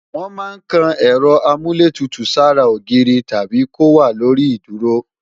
Wọ́n máa ń kan Ẹ̀rọ Amúlétutù sára ogiiri tàbí kó wà lórí ìdúró